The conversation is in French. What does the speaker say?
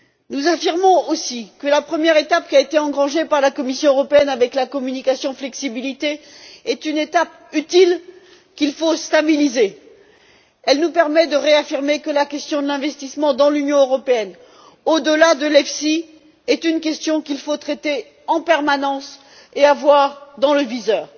Nous affirmons aussi que la première étape qui a été engagée par la Commission européenne avec la communication flexibilité est une étape utile qu'il faut stabiliser. Elle nous permet de réaffirmer que la question de l'investissement dans l'Union européenne, au delà de l'EFSI, est une question qu'il faut traiter en permanence et avoir dans le viseur.